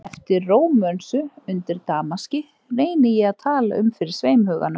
Eftir Rómönsu, undir damaski, reyni ég að tala um fyrir sveimhuganum